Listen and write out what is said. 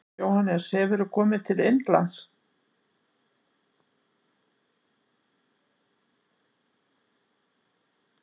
Jóhannes: Hefurðu komið til Indlands?